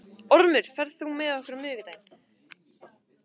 Ormur, ferð þú með okkur á miðvikudaginn?